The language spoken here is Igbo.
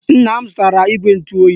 Nna m zụtara igwe ntụoyi